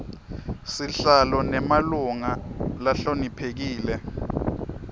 sihlalo nemalunga lahloniphekile